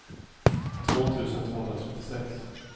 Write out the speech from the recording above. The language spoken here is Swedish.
två tusen tvåhundratrettiosex